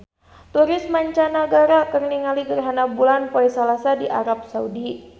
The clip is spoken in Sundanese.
Turis mancanagara keur ningali gerhana bulan poe Salasa di Arab Saudi